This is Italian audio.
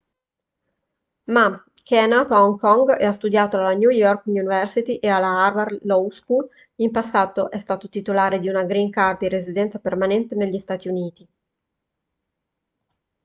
ma che è nato a hong kong e ha studiato alla new york university e alla harvard law school in passato è stato titolare di una green card di residenza permanente negli stati uniti